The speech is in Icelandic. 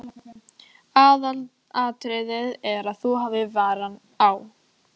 Aðalatriðið er að þú hafir varann á.